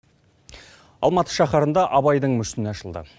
алматы шаһарында абайдың мүсіні ашылды